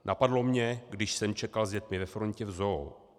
"Napadl mě, když jsem čekal s dětmi ve frontě v ZOO.